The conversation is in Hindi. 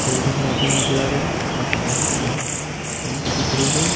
तेल डलवाते हुए नजर आ रहे हैं एक बहुत बड़ी टैंक दिख रही है।